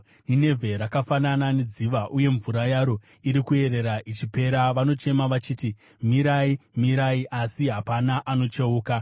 Ninevhe rakafanana nedziva, uye mvura yaro iri kuerera ichipera. Vanochema vachiti, “Mirai! Mirai!” asi hapana anocheuka.